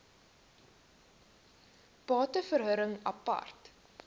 bate verhuring apart